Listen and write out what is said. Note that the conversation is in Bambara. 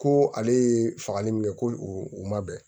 Ko ale ye fagali min kɛ ko u ma bɛn